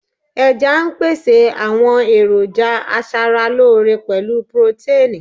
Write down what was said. Ẹja ń pèsè àwọn èròjà aṣaralóore pẹ̀lú pirotéìnì.